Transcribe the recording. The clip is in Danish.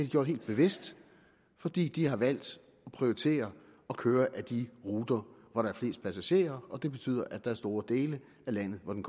gjort helt bevidst fordi de har valgt at prioritere at køre ad de ruter hvor der er flest passagerer det betyder at der er store dele af landet hvor den